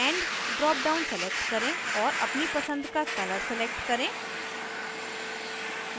end drop down select करें और अपनी पसंद का colour select करें